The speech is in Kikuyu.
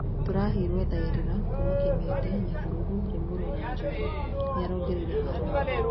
"Tũraheirwo thaĩrĩra Kuma Kimende, Nyahururu, Limuru na Njoro," nĩarongereire Harũni.